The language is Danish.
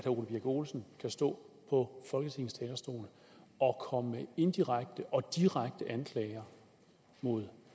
ole birk olesen kan stå på folketings talerstol og komme med indirekte og direkte anklager mod